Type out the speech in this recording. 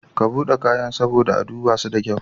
Ka buɗe kayan saboda a dubaso da kyau.